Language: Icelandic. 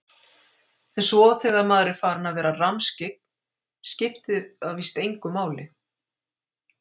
En svo þegar maður er farinn að vera rammskyggn skiptir það víst engu máli.